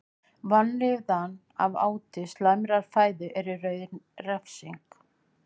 Vanlíðan af áti slæmrar fæðu er í raun refsing.